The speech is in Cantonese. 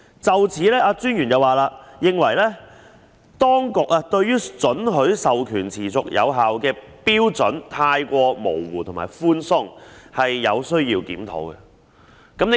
就此，專員認為當局對於准許訂明授權持續有效的標準太過模糊和寬鬆，有需要檢討。